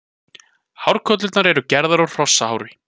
Hárkollurnar eru gerðar úr hrosshári.